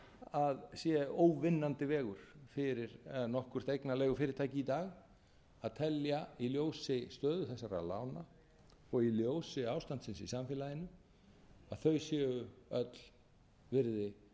að sé óvinnandi vegur fyrir nokkurt eignarleigufyrirtæki í dag að telja í ljósi stöðu þessara lána og í ljósi ástandsins í samfélaginu að þau séu öll virði hverrar þeirrar